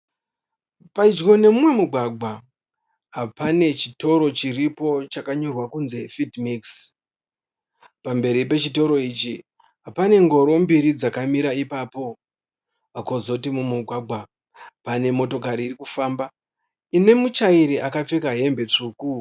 Pedyo nemumwe mugwagwa pane chitoro chiripo chakanyorwa kunzi fidhi mikisi. Pamberi pechitoro ichi pane ngoro mbiri dzakamira ipapo. kwozotio mumugwagwa pane motokari irikufamba ine mutyairi akapfeka hembe tsvuku.